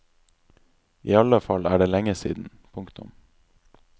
I alle fall er det lenge siden. punktum